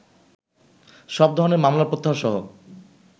সব ধরনের মামলা প্রত্যাহারসহ